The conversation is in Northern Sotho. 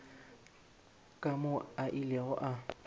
ka moo a ilego a